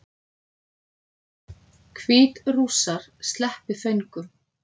Hvítrússar sleppi föngum